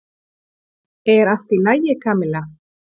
Er allt í lagi, Kamilla?